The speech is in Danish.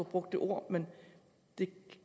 brugt det ord men det